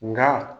Nka